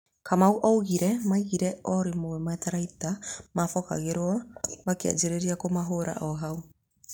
Kamanũaugire maiguire o rĩmwe matharaita mabokeragwo makianjĩrĩria kũmahũra ohau.